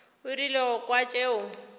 o rile go kwa tšeo